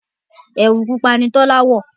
ẹwu pupa ní Tola wọ.